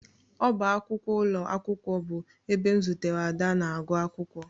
Ọbá akwụkwọ ụlọ akwụkwọ bụ ebe m zutere Ada na-agụ akwụkwọ